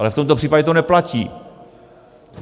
Ale v tomto případě to neplatí.